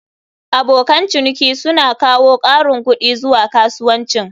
Abokan ciniki suna kawo ƙarin kuɗi zuwa kasuwancin.